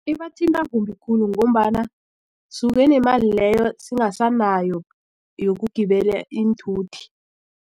Ibathinta kumbi khulu ngombana suke nemali leyo singasanayo yokugibela iinthuthi.